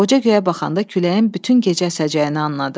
Qoca göyə baxanda küləyin bütün gecə əsəcəyini anladı.